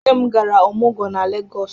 Nne m gara ọmụgwọ na Legọs.